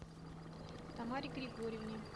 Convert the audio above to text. тамаре григорьевне